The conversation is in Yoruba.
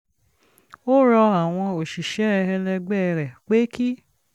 ó rọ àwọn òṣìṣẹ́ ẹlẹgbẹ́ rẹ̀ pé kí